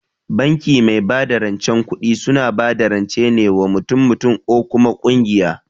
Banki mai bada rancen kuɗi suna bada rance ne wa mutum mutum or kuma kungiyoyi